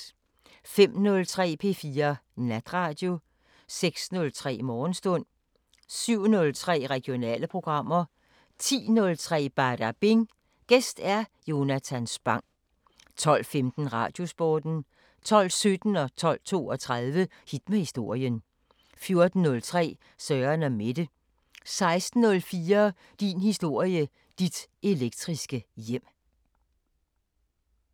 05:03: P4 Natradio 06:03: Morgenstund 07:03: Regionale programmer 10:03: Badabing: Gæst Jonatan Spang 12:15: Radiosporten 12:17: Hit med historien 12:32: Hit med historien 14:03: Søren & Mette 16:04: Din historie – Dit elektriske hjem